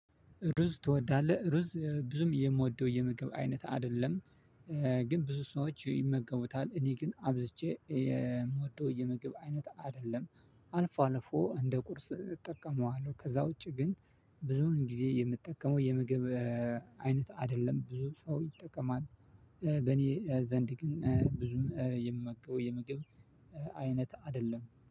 ሩዝ ትወዳለህ ሩዝ ብዙም የምወደው የምግብ አይነት አደለም ግን ብዙ ሰዎች ይመገቡታል እኔ ግን አብዝቼ የምወደው የምግብ አይነት አደለም። አልፎ አልፎ እንደ ቁርስ እጠቀመዋለው ከዛ ውጪ ግን። ብዙውን ጊዜ የምጠቀመው የምግብ አይነት አደለም ብዙ ሰው ይጠቀማል። በኔ ዘንድ ግን ብዙም የምመገበው የምግብ አይነት አደለም